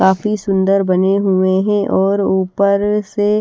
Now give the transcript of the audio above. काफी सुंदर बने हुए हैं और ऊपर से--